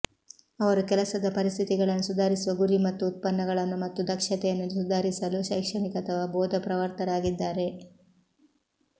ಅವರು ಕೆಲಸದ ಪರಿಸ್ಥಿತಿಗಳನ್ನು ಸುಧಾರಿಸುವ ಗುರಿ ಮತ್ತು ಉತ್ಪನ್ನಗಳನ್ನು ಮತ್ತು ದಕ್ಷತೆಯನ್ನು ಸುಧಾರಿಸಲು ಶೈಕ್ಷಣಿಕ ಅಥವಾ ಬೋಧಪ್ರವರ್ತಕರಾಗಿದ್ದಾರೆ